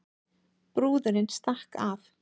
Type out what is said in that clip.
Brúðurin stakk af